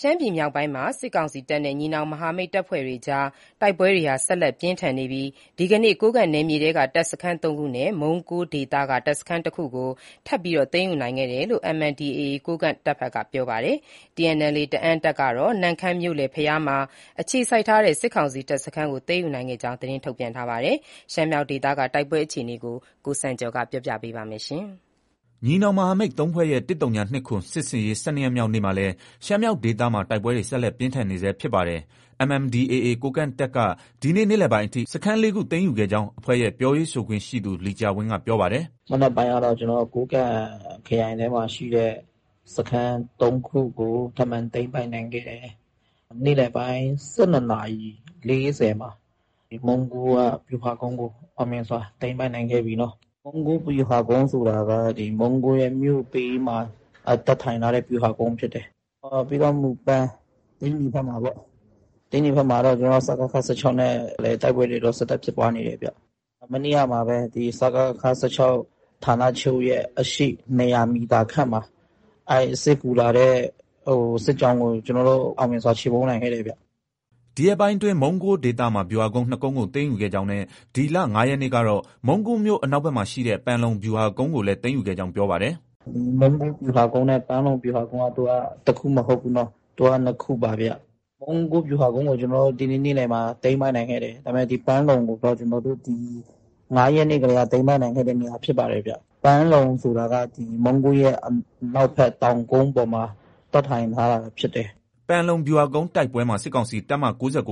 ရှမ်းပြည်နယ်မြောက်ပိုင်းမှာ စစ်ကောင်စီတပ်နဲ့ ညီနောင်မဟာမိတ်တပ်ဖွဲ့တွေအကြား တိုက်ပွဲတွေဟာ ဆက်လက်ပြင်းထန်နေပြီး ဒီကနေ့ ကိုးကန့်နယ်မြေထဲက တပ်စခန်း ၃ ခုနဲ့ မုန်းကိုးဒေသ တပ်စခန်းတခုကို ထပ်မံသိမ်းယူခဲ့ကြောင်း MNDAA ကိုးကန့်တပ်ဘက်က ပြောပါတယ်။ TNLA တအန်းတပ်ကတော့ နမ့်ခမ်းမြို့ ၊ မြို့လယ်ဘုရားမှာ အခြေစိုက်ထားတဲ့ စစ်ကောင်စီတပ်စခန်းကို သိမ်းယူခဲ့ကြောင်း သတင်းထုတ်ပြန်ထားပါတယ်။ ရှမ်းမြောက်ဒေသက တိုက်ပွဲအခြေအနေကို ကိုစံကျော်က တင်ပြထားပါတယ်။ ညီနောင်မဟာမိတ် ၃ဖွဲ့ရဲ့ ၁၀၂၇ စစ်ဆင်ရေး ၁၂ရက်မြောက် နေ့မှာလည်း ရှမ်းမြောက်ဒေသမှာ တိုက်ပွဲတွေ ဆက်လက် ပြင်းထန်နေဆဲဖြစ်ပါတယ်။ MNDAA ကိုးကန့်တပ်က ဒီနေ့ နေ့လယ်ပိုင်းအထိ စခန်း ၄ ခုသိမ်းယူခဲ့ကြောင်း အဖွဲ့ရဲ့ ပြောရေးဆိုခွင့်ရှိသူ လီကျာဝင်းက ပြောပါတယ်။ “မနက်ပိုင်းကတော့ ကိုးကန့်ခရိုင်ထဲမှာရှိတဲ့ စခန်း ၃ခုကို ထပ်မံ သိမ်းပိုက်နိုင်ခဲ့တယ်။ နေ့လယ်ပိုင်း ၁၂ နာရီ ၄၀ မှာ မုံးကိုးက ဗျူဟာကုန်းကို အောင်မြင်စွာ သိမ်းပိုက်နိုင်ခဲ့ပြီ။ မုံးကိုးဗျူဟာကုန်းဆိုတာက မုံးကိုးရဲ့ မြို့ဘေးမှာ တပ်ထိုင်ထားတဲ့ ဗျူဟာကုန်းဖြစ်တယ်။ ပြီးတော့ မူပန်(သိန္နီ) ဘက်မှာပေါ့။ သိန္နီဘက်မှာတော့ ကျနော်တို့ စကခ ၁၆ နဲ့လည်း တိုက်ပွဲတွေ ဆက်တိုက်ဖြစ်ပွားနေတယ်ဗျ။ မနေ့ကမှာပဲ စကခ ၁၆ ရဲ့ အရှေ့ ၂၀၀ မီတာခန့်မှာ စစ်ကူလာတဲ့ စစ်ကြောင်းကို ကျနော်တို့ အောင်မြင်စွာ ချေမှုန်းနိုင်ခဲ့တယ်ဗျ။ ” ဒီရက်ပိုင်းအတွင်း မုံးကိုးဒေသမှာ ဗျူဟာကုန်း ၂ကုန်းကို သိမ်းယူခဲ့ကြောင်းနဲ့ ဒီလ ၅ရက်နေ့ကတော့ မုံးကိုးမြို့ အနောက်ဖက်မှာ ရှိတဲ့ ပန်လုံဗျူဟာကုန်းကိုလည်း သိမ်းယူခဲ့ကြောင်း ပြောပါတယ်။ “ မုံးကိုး ဗျူဟာကုန်းနဲ့ ပန်လုံဗျူဟာကုန်းက သူက တခုမဟုတ်ဘူး။ နှစ်ခုပါဗျ။ မုံးကိုး ဗျူဟာကုန်းကို ကျနော်တို့ ဒီနေ့ နေ့လည်မှာ သိမ်းပိုက်နိုင်ခဲ့တယ်။ ဒါပေမဲ့ ပန်လုံကိုတော့ ကျနော်တို့ ဒီ ၅ရက် နေ့တည်းက သိမ်းပိုက်နိုင်ခဲ့တဲ့နေရာ ဖြစ်ပါတယ်။ ပန်လုံဆိုတာက မုံးကိုးရဲ့ အနောက်ဘက် တောင်ကုန်းပေါ်မှာ တပ်ထိုင်ထားတာဖြစ်တယ်။ ” ပန်လုံဗျူဟာကုန်း တိုက်ပွဲမှာ စစ်ကောင်စီ တပ်မ ၉၉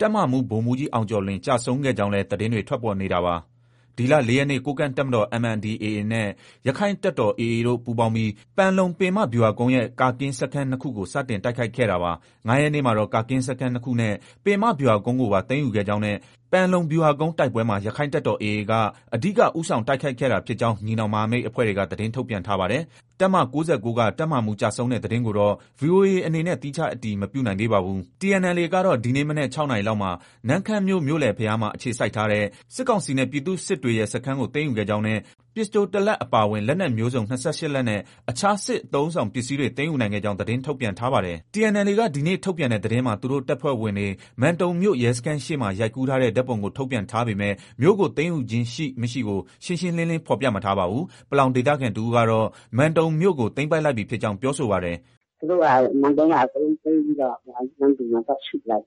က တပ်မမှုး ဗိုလ်မှုးကြီး အောင်ကျော်လွင် ကျဆုံးခဲ့ ကြောင်း လည်း သတင်းတွေ ထွက်ပေါ်နေတာပါ။ ဒီလ ၄ရက်နေ့က ကိုးကန့်တပ်မတော် (MNDAA) နှင့် ရက္ခိုင့်တပ်တော် (AA) တို့ ပူးပေါင်းပြီး ပန်လုံပင်မ ဗျူဟာကုန်း ရဲ့ ကာကင်း စခန်း ၂ ခုကို စတင်တိုက်ခိုက်ခဲ့တာပါ။ ၅ ရက်နေ့မှာတော့ ကာကင်းစခန်း ၂ ခုနဲ့ ပင်မ ဗျူဟာကုန်းကိုပါ သိမ်းယူခဲ့ကြောင်းနဲ့ ပန်လုံဗျူဟာကုန်းတိုက်ပွဲမှာ ရက္ခိုင့်တပ်တော် (AA) က အဓိက ဦးဆောင်တိုက်ခိုက်ခဲ့တာဖြစ်ကြောင်း ညီနောင်မဟာမိတ်အဖွဲ့က သတင်းထုတ်ပြန်ထားပါတယ်။ တပ်မ ၉၉ က တပ်မမှုး ကျဆုံးတဲ့သတင်းကိုတော့ VOA အနေနဲ့ သီးခြား အတည်မပြုနိုင်သေးပါဘူး။ TNLA ကတော့ ဒီနေ့ မနက် ၆နာရီလောက်မှာ နမ့်ခမ်းမြို့ မြို့လယ်ဘုရားမှာ အခြေစိုက်ထားတဲ့ စစ်ကောင်စီနဲ့ ပြည်သူစစ်တွေရဲ့ စခန်းကို သိမ်းယူခဲ့ကြောင်းနဲ့ ပစ္စတို တလက် အပါအဝင် လက်နက်မျိူးစုံ ၂၈ လက်နဲ့ အခြား စစ်အသုံးအဆောင်ပစ္စည်းတွေ သိမ်းယူနိုင်ခဲ့ကြောင်း သတင်းထုတ်ပြန်ထားပါတယ်။ TNLA က ဒီနေ့ ထုတ်ပြန်တဲ့သတင်းမှာ သူတို့ တပ်ဖွဲ့ဝင်တွေ မန်တုံမြို့ ရဲစခန်းရှေ့မှာ ရိုက်ကူးထားတဲ့ ဓါတ်ပုံ ကို ထုတ်ပြန်ထားပေမဲ့ မြို့ကို သိမ်းယူခြင်းရှိ ၊ မရှိကို ရှင်းရှင်း လင်းလင်း ဖေါ်ပြမထားပါဘူး။ ပလောင် ဒေသခံတဦးကတော့ မန်တုံမြို့ကို သိမ်းပိုက်လိုက်ပြီ ဖြစ်ကြောင်း ပြောဆိုပါတယ်။ “ သူတို့က မန်တုံကို အကုန်လုံးသိမ်းပြီးတော့ နမ္မတူမှာ သွား စုကြတယ်။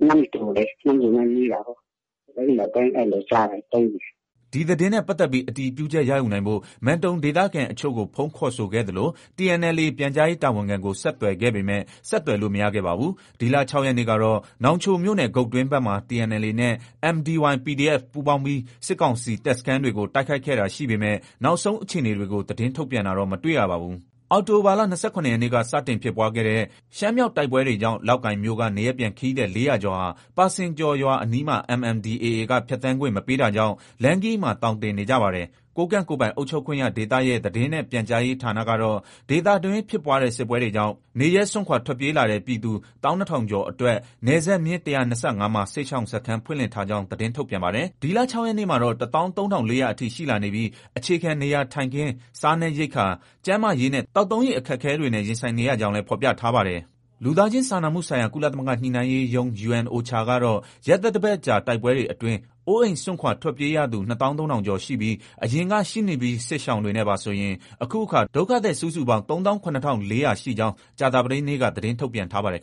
နမ္မတူကိုလေ နမ္မတူနဲ့ နီးတာကိုး။ သိမ်းတယ်၊ သိမ်းတယ်လို့ကြားတယ်၊ သိမ်းတယ်။” ဒီသတင်းနဲ့ပတ်သက်ပြီး အတည်ပြုချက် ရယူနိုင်ဖို့ မန်တုံဒေသခံအချို့ကို ဖုန်းခေါ်ဆိုခဲ့သလို TNLA ပြန်ကြားရေး တာဝန်ခံကို ဆက်သွယ်ခဲ့ပေမဲ့ ဆက်သွယ်လို့ မရခဲ့ပါဘူး။ ဒီလ ၆ရက်နေ့ကတော့ နောင်ချိုမြို့နယ် ဂုတ်တွင်းဘက်မှာ TNLA နဲ့ MDY PDF ပူးပေါင်းပြီး စစ်ကောင်စီ တပ်စခန်းတွေကို တိုက်ခိုက်ခဲ့တာရှိပေမဲ့ နောက်ဆုံးအခြေအနေတွေကို သတင်း ထုတ်ပြန်တာ တော့ မတွေ့ရပါဘူး။ အောက်တိုဘာလ ၂၇ရက်နေ့က စတင်ဖြစ်ပွားခဲ့တဲ့ ရှမ်းမြောက်တိုက်ပွဲတွေကြောင့် လောက်ကိုင်မြို့က နေရပ်ပြန် ခရီးသည် ၄၀၀ ကျော်ဟာ ပါစင်ကျော်ရွာ အနီးမှာ MNDAA က ဖြတ်သန်းခွင့် မပေးတာ ကြောင့် လမ်းခရီးမှာ သောင်တင်နေကြပါတယ်။ ကိုးကန့်ကိုယ်ပိုင်အုပ်ချုပ်ခွင့်ရဒေသ ရဲ့ သတင်းနဲ့ ပြန်ကြားရေးဌာနကတော့ ဒေသတွင်း ဖြစ်ပွားတဲ့စစ်ပွဲကြောင့် နေရပ်စွန့်ခွာထွက်ပြေးလာတဲ့ ပြည်သူ ၁၂၀၀၀ ကျော်အတွက် နယ်စပ်မျဉ်း ၁၂၅ မှာ စစ်ရှောင်စခန်းဖွင့်လှစ်ထား ကြောင်း သတင်းထုတ်ပြန် ပါတယ်။ ဒီလ ၆ရက်နေ့မှာတော့ ၁၃၄၀၀ အထိ ရှိလာနေပြီး အခြေခံ နေရာထိုင်ခင်း၊ စားနပ်ရိက္ခာ၊ ကျန်းမာရေးနဲ့ သောက်သုံးရေ အခက်အခဲများနှင့် ရင်ဆိုင်နေရကြောင်း လည်း ဖော်ပြထားပါတယ်။ လူသားချင်း စာနာမှုဆိုင်ရာ ကုလသမဂ္ဂ ညှိနှိုင်းရေးရုံး (UNOCHA) ကတော့ ရက်သတ္တပတ်ကြာ တိုက်ပွဲတွေအတွင်း အိုးအိမ်စွန့်ခွာ ထွက်ပြေးရသူ ၂၃၀၀၀ ကျော်ရှိပြီး အရင်က ရှိနှင့်ပြီး စစ်ရှောင် တွေနဲ့ပါဆိုရင် အခုအခါ ဒုက္ခသည် စုစုပေါင်း ၃၇၄၀၀ ရှိကြောင်း ကြာသပတေးနေ့က သတင်း ထုတ်ပြန်ထားပါတယ်